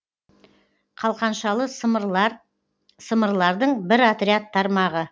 қалқаншалы сымырлар сымырлардың бір отряд тармағы